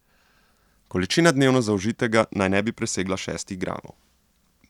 Količina dnevno zaužitega naj ne bi presegla šestih gramov.